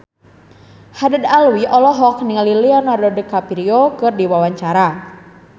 Haddad Alwi olohok ningali Leonardo DiCaprio keur diwawancara